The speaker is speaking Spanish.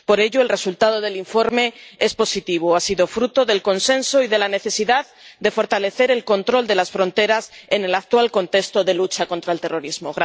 Por ello, el resultado del informe es positivo, ha sido fruto del consenso y de la necesidad de fortalecer el control de las fronteras en el actual contexto de lucha contra el terrorismo.